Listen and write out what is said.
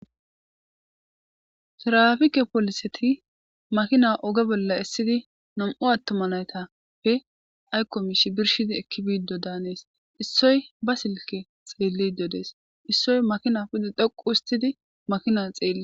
tirafike poliseti makina oge bolla essidi nam7u attoma laytappe aykkomishi birshidi ekki biiddo daanees issoy ba silke xeelli dodees issoy makina pide dhoqu hustidi makina xeeli